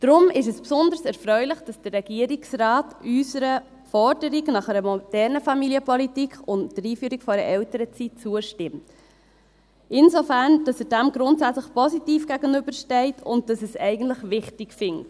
Deshalb ist es besonders erfreulich, dass der Regierungsrat unserer Forderung nach einer modernen Familienpolitik und der Einführung einer Elternzeit zustimmt – insofern, dass er dem positiv gegenübersteht und dass er es eigentlich wichtig findet.